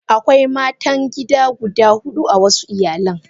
Akwai matan gida guda hudu a wasu iyalan.